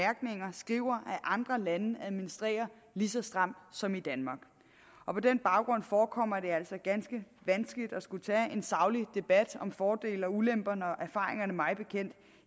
skriver at andre lande administrerer lige så stramt som i danmark og på den baggrund forekommer det altså ganske vanskeligt at skulle tage en saglig debat om fordele og ulemper når erfaringerne mig bekendt